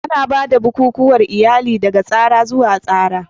Ana ba da bukukuwan iyali daga tsara zuwa tsara.